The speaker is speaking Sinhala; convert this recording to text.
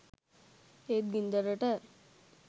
ඒත් ගින්දරට